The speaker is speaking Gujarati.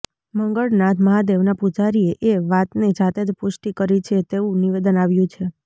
મંગળનાથ મહાદેવના પૂજારીએ એ વાતની જાતે જ પૂષ્ટિ કરી છે તેવું નિવેદન આવ્યું છે